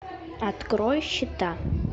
открой счета